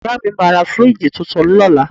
Ìyá mi máa ra fíríìjì tuntun lọ́la